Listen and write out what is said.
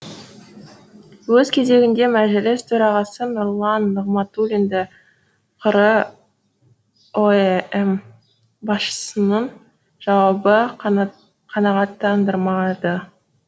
өз кезегінде мәжіліс төрағасы нұрлан нығматулинді қр ұэм басшысының жауабы қанағаттандырмады